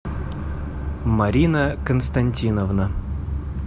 марина константиновна